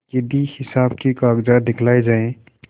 यदि हिसाब के कागजात दिखलाये जाएँ